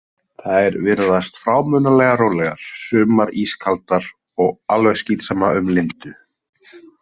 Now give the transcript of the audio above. Þær virðast frámunalega rólegar, sumar ískaldar og alveg skítsama um Lindu.